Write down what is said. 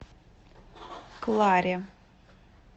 кларе